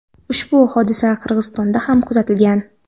ushbu hodisa Qirg‘izistonda ham kuzatilgan.